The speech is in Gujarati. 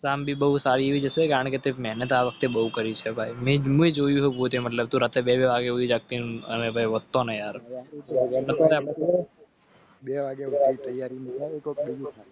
શામ ભી બહુ સારી છે કારણ કે તે નેતા વખતે બહુ કરી શકાય. સુરત Two વાગે જતીનભાઈવતો ને યાર. Two વાગે જાવ તૈયાર.